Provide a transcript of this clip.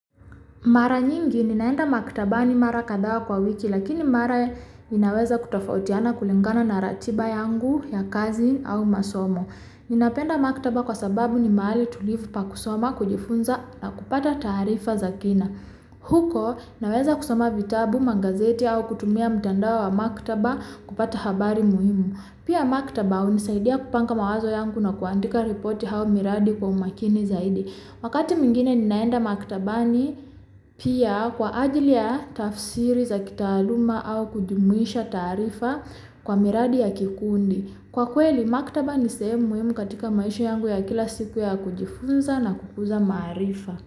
Mara nyingi, ninaenda maktabani mara kadhaa kwa wiki, lakini mara ninaweza kutofautiana kulingana na ratiba yangu ya kazi au masomo. Ninapenda maktaba kwa sababu ni mahali tulivu pa kusoma kujifunza na kupata taarifa za kina. Huko, naweza kusoma vitabu, magazeti au kutumia mtandao wa maktaba kupata habari muhimu. Pia maktaba, hunisaidia kupanga mawazo yangu na kuandika ripoti hau miradi kwa umakini zaidi. Wakati mwingine ninaenda maktabani pia kwa ajili ya tafsiri za kitaaluma au kujumuisha taarifa kwa miradi ya kikundi. Kwa kweli, maktaba ni sehemu muhimu katika maisha yangu ya kila siku ya kujifunza na kukuza maarifa.